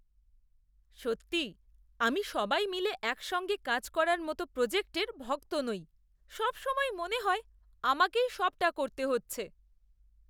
সত্যিই আমি সবাই মিলে একসঙ্গে কাজ করার মতো প্রজেক্টের ভক্ত নই; সবসময়ই মনে হয় আমাকেই সবটা করতে হচ্ছে।